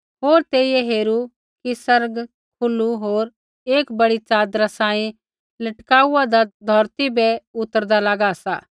होर तेइयै हेरू कि आसमान खुलू होर एक बड़ी च़ादरा सांही लटकाउआदा धौरती बै उतरदा लागा सा